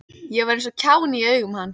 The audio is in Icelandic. Ég var eins og kjáni í augum hans.